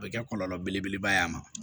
O bɛ kɛ kɔlɔlɔ belebeleba ye a ma